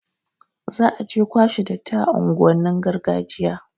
Za aje kwashe datti a unguwannin gargajiya